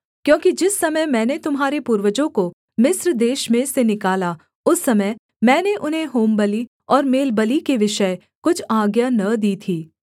क्योंकि जिस समय मैंने तुम्हारे पूर्वजों को मिस्र देश में से निकाला उस समय मैंने उन्हें होमबलि और मेलबलि के विषय कुछ आज्ञा न दी थी